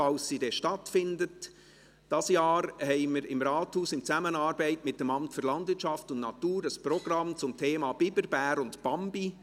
, sofern sie stattfindet: Dieses Jahr haben wir im Rathaus in Zusammenarbeit mit dem Amt für Landwirtschaft und Natur (LANAT) ein Programm zum Thema «Biber, Bär und Bambi: